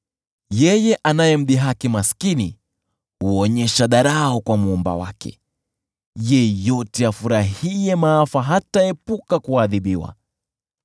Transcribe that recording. Yeye anaye mdhihaki maskini huonyesha dharau kwa Muumba wake; yeyote afurahiaye maafa hataepuka kuadhibiwa.